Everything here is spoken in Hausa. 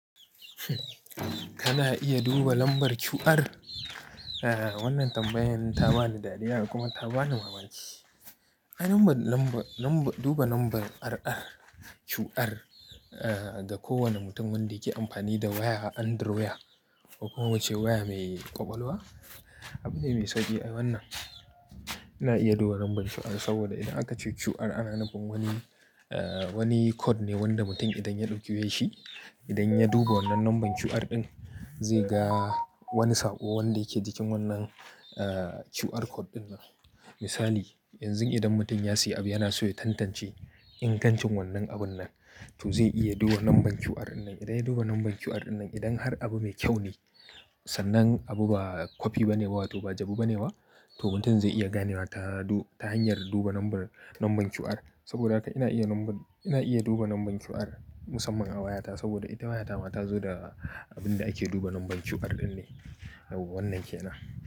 Kana a iya duba lambar QR. Wannan tambayan ta bani dariya kuma ta bani mamaci. A duba lambar, duba lambar RR, QR, ah, da kowane mutum wanda yake amfani da waya Android kuma wacce waya mai ƙwaƙwalwa. Abune mai sauƙi ai wannan. Ina iya duba lambar QR saboda idan aka ce QR ana nufin wani, eh wani code ne wanda mutum idan ya ɗaukye shi, idan ya duba wannan lambar QR ɗin zai ga wani saƙo wanda yake cikin wannan QR code ɗin nan. Misali, yanzu idan mutum ya siya abu yana so ya tantance ingancin wannan abun nan, to zai iya duba lambar QR ɗin nan. Idan ya duba lambar QR ɗin nan, idan har abu mai kyau ne, sannan abu ba kwafi ba ne ba wato ba jabu ba ne ba, to mutum zai iya ganewa ta hanyar duba lambar, lambar QR. Saboda haka ina iya lambar, ina iya duba lambar QR musamman a wayata saboda ita wayata ma ta zo da abin da ake duba lambar QR ɗin ne. Wannan kenan.